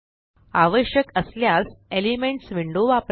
आवश्यक असल्यास elements window वापरा